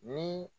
Ni